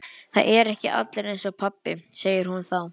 Það eru ekki allir eins og pabbi, segir hún þá.